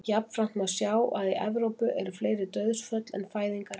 Jafnframt má sjá að í Evrópu eru fleiri dauðsföll en fæðingar á ári.